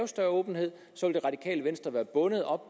større åbenhed så vil det radikale venstre være bundet op